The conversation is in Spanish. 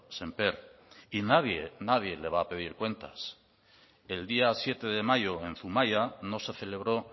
sémper y nadie nadie le va a pedir cuentas el día siete de mayo en zumaia no se celebró